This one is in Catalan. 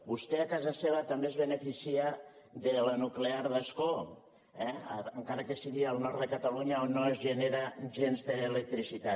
vostè a casa seva també es beneficia de la nuclear d’ascó eh encara que sigui al nord de catalunya on no es genera gens d’electricitat